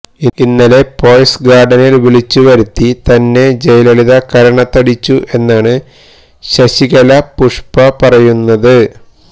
ഇന്നലെ പോയസ് ഗാർഡനിൽ വിളിച്ചു വരുത്തി തന്നെ ജയലളിത കരണത്തടിച്ചു എന്നാണ് ശശികല പുഷ്പ പറയുന്നത്